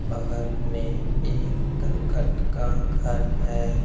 बगल में एक करकट का घर है।